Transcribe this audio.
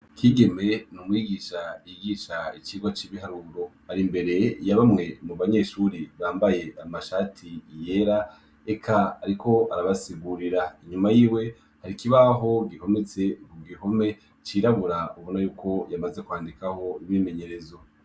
Kigeme ni Umwigisha yigisha icigwa c'ibiharuro, ari mbere ya bamwe mu banyeshuri bambaye amashati yera, eka ariko arabasigurira, inyuma y'iwe hari kibaho gihometse kugihome cirabura, ubona yuko yamaze kwandikaho imyimenyerezo.